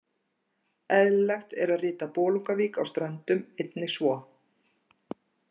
Eðlilegt er að rita Bolungarvík á Ströndum einnig svo.